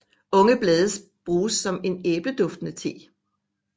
Unge blade bruges som en æbleduftende te